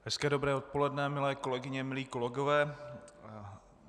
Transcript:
Hezké dobré odpoledne, milé kolegyně, milí kolegové.